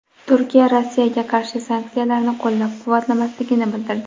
Turkiya Rossiyaga qarshi sanksiyalarni qo‘llab-quvvatlamasligini bildirdi.